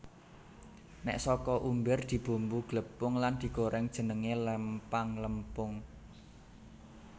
Nek saka umbir dibumbu glepung lan digoreng jenenge lempang lempung